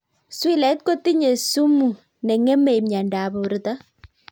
Swilait kotinye sumuut nengemee mieindoop portoo